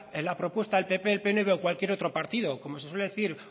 la propuesta el pp el pnv o cualquier otro partido como se suele decir